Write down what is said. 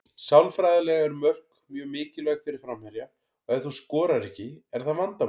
Sálfræðilega eru mörk mjög mikilvæg fyrir framherja og ef þú skorar ekki er það vandamál.